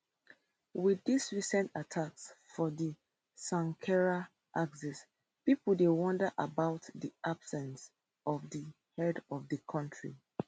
wit dis recent attacks for di sankera axis pipo dey wonder about di absence of di head of di kontri